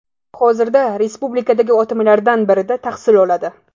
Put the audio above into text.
hozirda respublikadagi OTMlardan birida tahsil oladi.